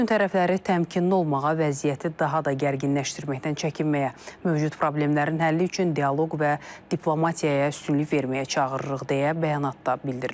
Bütün tərəfləri təmkinli olmağa, vəziyyəti daha da gərginləşməkdən çəkinməyə, mövcud problemlərin həlli üçün dialoq və diplomatiyaya üstünlük verməyə çağırırıq deyə bəyanatda bildirilib.